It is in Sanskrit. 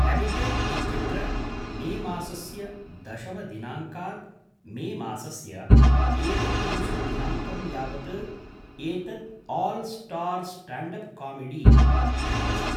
हैबिटेट् इत्यत्र मेमासस्य दशमदिनाङ्कात् मेमासस्य एकत्रिंशत् दिनाङ्कं यावत् एतत् 'आल् स्टार् स्टाण्डप् कामेडी' इति अस्ति ।